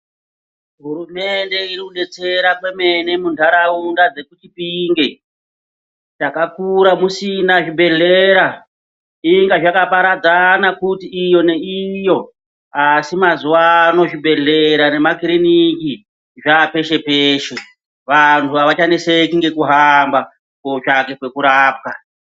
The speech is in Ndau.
Hurumende irikudetsera kwemene muntaraunda dzekuchipinge. Takakura kusina zvibhedhlera. Zveinge zvakaparadzana kuti iyo neiyo asi mazuvano zvibhedhera nemakiriniki zvapeshe-peshe. Vantu havachanetseki ngekuhamba kotsvake pekurapwa.